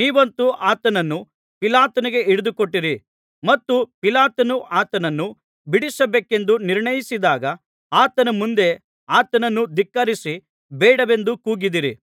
ನೀವಂತೂ ಆತನನ್ನು ಪಿಲಾತನಿಗೆ ಹಿಡಿದುಕೊಟ್ಟಿರಿ ಮತ್ತು ಪಿಲಾತನು ಆತನನ್ನು ಬಿಡಿಸಬೇಕೆಂದು ನಿರ್ಣಯಿಸಿದಾಗ ಆತನ ಮುಂದೆ ಆತನನ್ನು ಧಿಕ್ಕರಿಸಿ ಬೇಡವೆಂದು ಕೂಗಿದ್ದೀರಿ